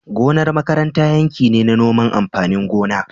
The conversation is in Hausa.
Gonar makaranta yanki ne na noman amfanin gona